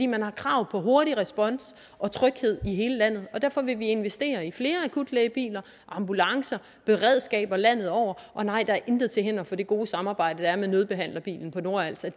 man har krav på hurtig respons og tryghed i hele landet og derfor vil vi investere i flere akutlægebiler ambulancer beredskaber landet over og nej der er intet til hinder for at det gode samarbejde der er med nødbehandlerbilen på nordals